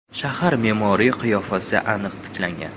Shahar me’moriy qiyofasi aniq tiklangan.